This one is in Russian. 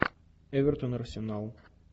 эвертон арсенал